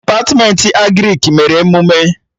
Depatmentị Agrịk mere emụme